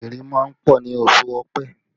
Ìrì máa ń pọ̀ ní oṣù ọ̀pẹ